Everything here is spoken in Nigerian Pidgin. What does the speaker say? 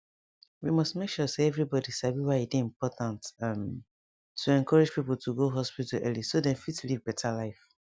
we must make sure say everybody sabi why e dey important um to encourage people to go hospital early so dem fit live better life